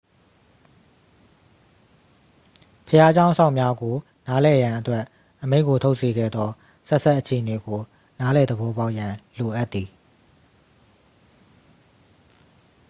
ဘုရားကျောင်းစောင့်များကို နားလည်ရန်အတွက် အမိန့်ကို ထုတ်စေခဲ့သော ဆက်စပ်အခြေအနေကို နားလည်သဘောပေါက်ရန် လိုအပ်သည်